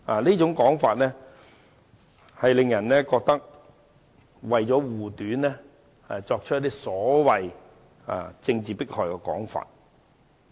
這種說法不禁令人覺得有人為了護短，才提出所謂政治迫害的說法。